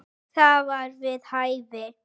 Það var við hæfi.